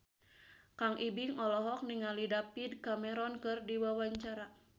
Kang Ibing olohok ningali David Cameron keur diwawancara